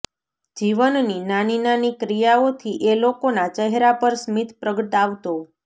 જીવનની નાની નાની ક્રિયાઓથી એ લોકોના ચહેરા પર સ્મિત પ્રગટાવતો